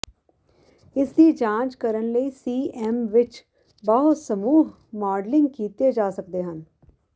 ਇਸ ਦੀ ਜਾਂਚ ਕਰਨ ਲਈ ਸੀਐਮ ਵਿਚ ਬਹੁ ਸਮੂਹ ਮਾਡਲਿੰਗ ਕੀਤੇ ਜਾ ਸਕਦੇ ਹਨ